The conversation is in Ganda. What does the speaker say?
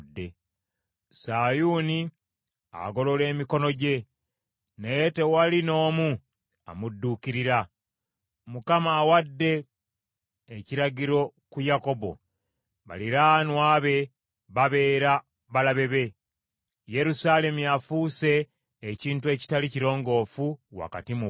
Sayuuni agolola emikono gye, naye tewali n’omu amudduukirira. Mukama awadde ekiragiro ku Yakobo baliraanwa be babeere balabe be; Yerusaalemi afuuse ekintu ekitali kirongoofu wakati mu bo.